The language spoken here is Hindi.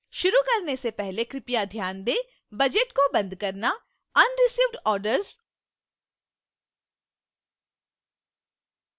शुरू करने से पहले कृपया ध्यान दें: budget को बंद करना unreceived orders और